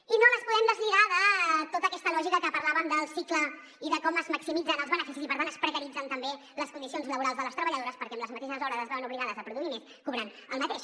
i no les podem deslligar de tota aquesta lògica que parlàvem del cicle i de com es maximitzen els beneficis i per tant es precaritzen també les condicions laborals de les treballadores perquè amb les mateixes hores es veuen obligades a produir més cobrant el mateix